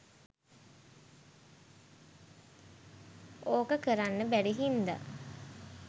ඕක කරන්න බැරි හින්ද.